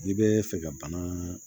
N'i bɛ fɛ ka bana